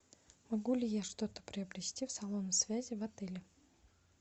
могу ли я что то приобрести в салоне связи в отеле